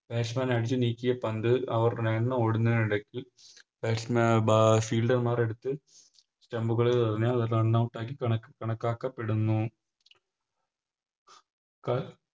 Batsman അടിച്ചു നീക്കിയ പന്ത് അവർ Run ഓടുന്നതിനിടക്ക് അഹ് Fielder മാർ എടുത്ത് Stump ൽ എറിഞ്ഞ് അത് Runout ആക്കി കണ് കണക്കാക്കപ്പെടുന്നു ക